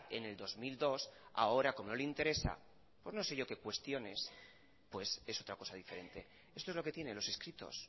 en el dos mil dos ahora como no le interesa pues no sé yo qué cuestiones pues es otra cosa diferente esto es lo que tiene los escritos